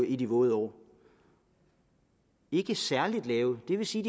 i de våde år ikke særlig lav det vil sige